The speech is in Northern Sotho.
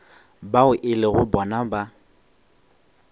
bao e lego bona ba